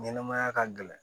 Ɲɛnɛmaya ka gɛlɛn